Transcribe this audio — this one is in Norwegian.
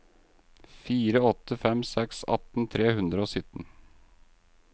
fire åtte fem seks atten tre hundre og sytten